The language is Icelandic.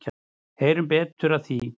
Heyrum betur af því.